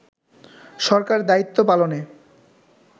সরকার দায়িত্ব পালনে